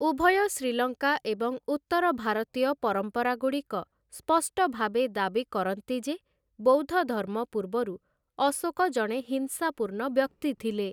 ଉଭୟ ଶ୍ରୀଲଙ୍କା ଏବଂ ଉତ୍ତର ଭାରତୀୟ ପରମ୍ପରାଗୁଡ଼ିକ ସ୍ପଷ୍ଟ ଭାବେ ଦାବି କରନ୍ତି ଯେ ବୌଦ୍ଧଧର୍ମ ପୂର୍ବରୁ ଅଶୋକ ଜଣେ ହିଂସାପୂର୍ଣ୍ଣ ବ୍ୟକ୍ତି ଥିଲେ ।